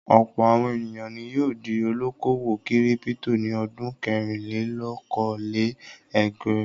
Ọ̀pọ̀ àwọn ènìyàn ni yóò di olókòwò kírípító ní ọdún kẹrìnlélókòó-lé-ẹgvàá..